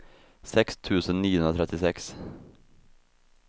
sex tusen niohundratrettiosex